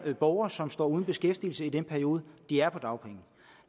borgere som står uden beskæftigelse i den periode de er på dagpenge